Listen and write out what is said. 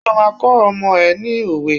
Ṣé o máa kọ́ ọmọ ẹ ní òwe?